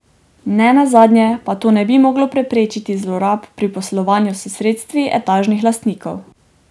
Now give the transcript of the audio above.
Ne nazadnje pa to ne bi moglo preprečiti zlorab pri poslovanju s sredstvi etažnih lastnikov.